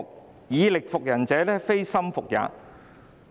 "反之，"以力服人者，非心服也"。